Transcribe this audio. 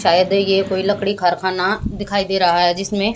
शायद ये कोई लकड़ी कारखाना दिखाई दे रहा है जिसमें--